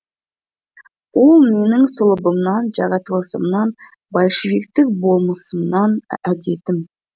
ол менің сұлыбымнан жаратылысымнан большевиктік болмысымнан әдетім